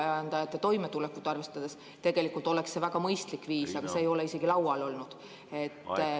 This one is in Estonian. ... kui ka põllumeeste toimetulekut arvestades oleks see väga mõistlik viis, aga see ei ole isegi laual olnud.